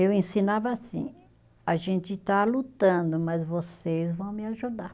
Eu ensinava assim, a gente está lutando, mas vocês vão me ajudar.